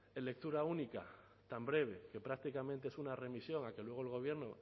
de lectura única tan breve que prácticamente es una remisión a que luego el gobierno